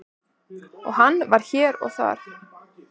og hann var hér og þar.